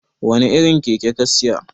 wane irin Keke ka Siya?